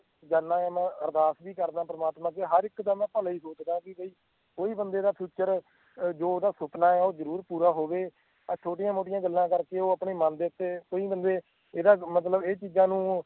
ਜਾਣਾ ਹੁਣਾ ਆਂ ਅਰਦਾਸ ਵੀ ਕਰਦਾ ਆਂ ਪ੍ਰਮਾਤਮਾ ਅੱਗੇ ਹਰ ਇੱਕ ਦਾ ਮੈਂ ਭਲਾ ਹੀ ਸੋਚਦਾ ਆਂ ਵੀ ਬਈ ਕਈ ਬੰਦੇ ਦਾ future ਜੋ ਓਹਦਾ ਸੁਪਨਾ ਆ ਉਹ ਜਰੂਰ ਪੂਰਾ ਹੋਵੇ ਆਹ ਛੋਟੀਆਂ ਮੋਟੀਆਂ ਗੱਲਾਂ ਕਰਕੇ ਉਹ ਆਪਣੇ ਮੰਨ ਦੇ ਉੱਤੇ ਕਈ ਬੰਦੇ ਇਹਦਾ ਮਤਲਬ ਇਹ ਚੀਜ਼ਾਂ ਨੂੰ ਉਹ